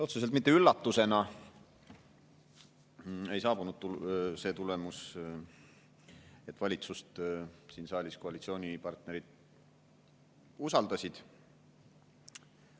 Otseselt mitte üllatusena saabus see tulemus, et valitsust siin saalis koalitsioonipartnerid usaldasid.